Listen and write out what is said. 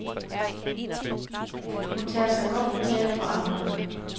Hun tager sig godt betalt for arbejdet.